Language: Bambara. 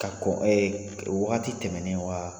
Ka kɔn ɛɛ wagati tɛmɛnen wa